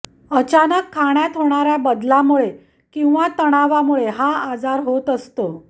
अचानक खाण्यात होणाऱ्या बदलामुळे किंवा तणावामुळे हा आजार होत असतो